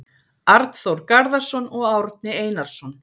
Arnþór Garðarsson og Árni Einarsson.